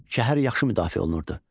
Şəhər yaxşı müdafiə olunurdu.